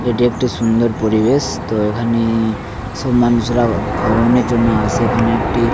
এটি একটি সুন্দর পরিবেশ-স। তো এখানে সব মানুষেরা ভঅনের জন্য আসে এখানে একটি--